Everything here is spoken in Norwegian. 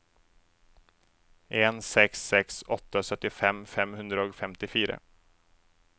en seks seks åtte syttifem fem hundre og femtifire